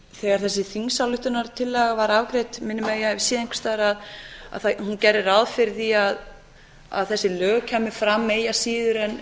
þegar þessi þingsályktunartillaga er afgreidd minnir mig að ég hafi séð einhvers staðar að hún gerði ráð fyrir því að þessi lög kæmu fram eigi síðar en